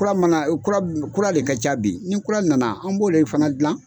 Kura man kan kura kura le ka ca bi ni kura nana an b'o de fana gilan.